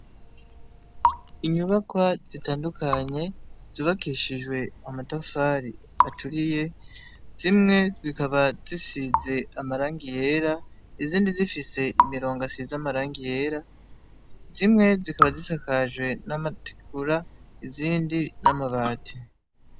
Inyubaka zitandukanye zubakishijwe mamatafari aturiye zimwe zikaba zisize amaranga iyera izindi zifise imirongo asize amaranga iyera zimwe zikaba zisakajwe n'amatugura izindi n'amabati.